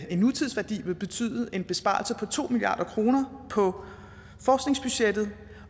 nutidsværdi vil betyde en besparelse på to milliard kroner på forskningsbudgettet